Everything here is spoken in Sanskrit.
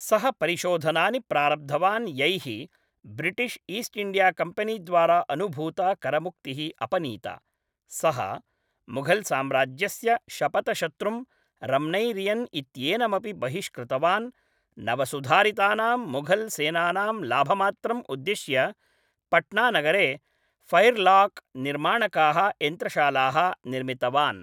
सः परिशोधनानि प्रारब्धवान् यैः ब्रिटिश् ईस्ट् इण्डिया कम्पेनी द्वारा अनुभूता करमुक्तिः अपनीता, सः मुघल् साम्राज्यस्य शपथशत्रुं रम्नैरियन् इत्येनमपि बहिष्कृतवान्, नवसुधारितानां मुघल् सेनानां लाभमात्रम् उद्दिश्य पट्ना नगरे फैर्लाक् निर्माणकाः यन्त्रशालाः निर्मितवान्।